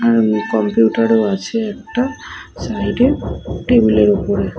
হাঁ কম্পিউটার ও আছে একটা সাইড -এ টেবিল -এর ওপরে।